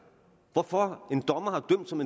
hvorfor en dommer har dømt som